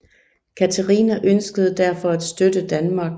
Katharina ønskede derfor at støtte Danmark